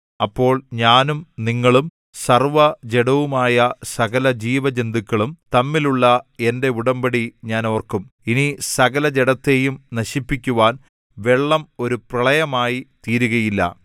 അപ്പോൾ ഞാനും നിങ്ങളും സർവ്വജഡവുമായ സകലജീവജന്തുക്കളും തമ്മിലുള്ള എന്റെ ഉടമ്പടി ഞാൻ ഓർക്കും ഇനി സകലജഡത്തെയും നശിപ്പിക്കുവാൻ വെള്ളം ഒരു പ്രളയമായി തീരുകയുമില്ല